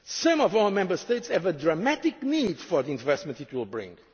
possible. Some of our Member States have a dramatic need for the investment it